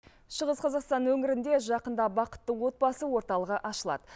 шығыс қазақстан өңірінде жақында бақытты отбасы орталығы ашылады